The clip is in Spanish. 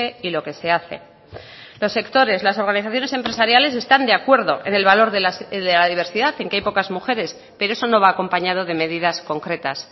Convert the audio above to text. y lo que se hace los sectores las organizaciones empresariales están de acuerdo en el valor de la diversidad en que hay pocas mujeres pero eso no va acompañado de medidas concretas